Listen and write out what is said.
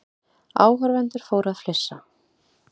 Áhorfendur fóru að flissa.